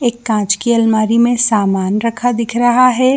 एक काॅंच के अलमारी में सामान रखा दिख रहा है।